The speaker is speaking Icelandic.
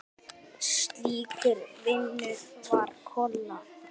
Slíkur vinur var Kolla.